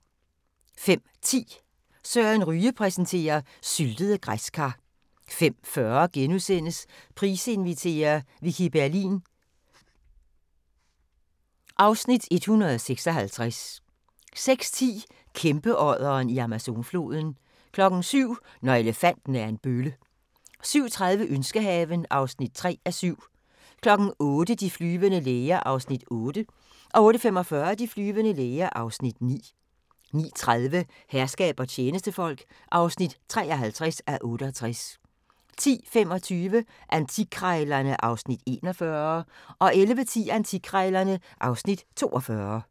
05:10: Søren Ryge præsenterer: Syltede græskar 05:40: Price inviterer - Vicki Berlin (Afs. 156)* 06:10: Kæmpeodderen i Amazonfloden 07:00: Når elefanten er en bølle 07:30: Ønskehaven (3:7) 08:00: De flyvende læger (8:224) 08:45: De flyvende læger (9:224) 09:30: Herskab og tjenestefolk (53:68) 10:25: Antikkrejlerne (Afs. 41) 11:10: Antikkrejlerne (Afs. 42)